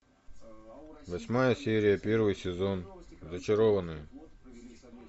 восьмая серия первый сезон зачарованные